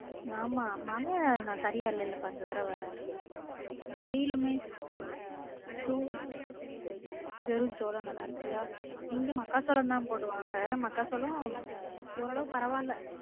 ஆமா மழை சரியா இல்லேலப்பா இந்த தடவ வெயிலுமே சோளம் வெறும் சோள நல்ல இருக்கா இங்க மக்காச்சோளம் தான் போடுவாங்க மக்காச்சோளம் ஓரளவு பரவால்ல